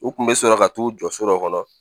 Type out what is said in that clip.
U kun bɛ sɔrɔ ka t'u jɔ so dɔ kɔnɔ